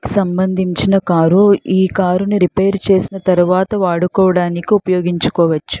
సంబందించిన కారు ఈ కారుని రేపైరు చేసిన తరువాత వాడుకోడానికి ఉపయోగించుకోవచ్చు.